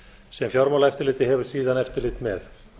sem fjármálaeftirlitið hefur síðan eftirlit með